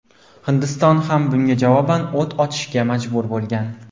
Hindiston ham bunga javoban o‘t ochishga majbur bo‘lgan.